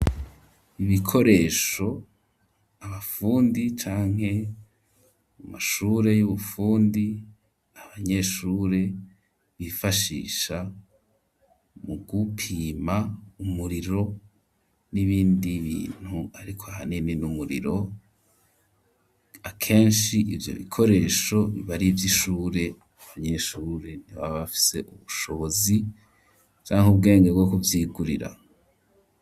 Ibikoresho abafundi, canke mu mashure y'ubufundi, abanyeshure bifashisha mu gupima, umuriro n'ibindi bintu, ariko hanini n'umuriro, akenshi ivyo bikoresho bibarivyo ishure ,abanyeshure ntibaba bafise ubushobozi, canke ubwenge bwo kuvyigurira.